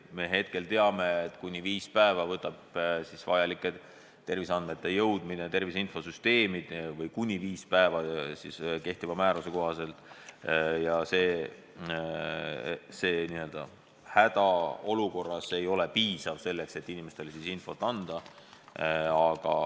Me teame, et kehtiva määruse kohaselt võtab terviseandmete jõudmine tervise infosüsteemi aega kuni viis päeva ja hädaolukorras sellest ei piisa, et inimestele infot anda.